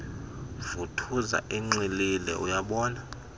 vuthuza enxilile uyabona